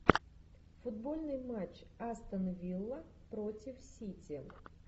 футбольный матч астон вилла против сити